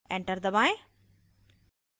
enter दबाएं